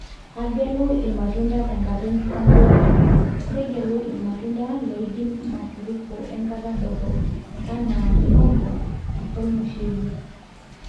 agelu ilmatunda tenkata ekisambuare, tegelu ilmatunda loidim mafuriko enkata dorop, anaa mihogo wolmushele